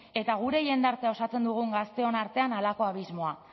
eta gure jendartea osatzen dugun gazteon artean halako abismoa